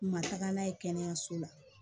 U ma taga n'a ye kɛnɛyaso la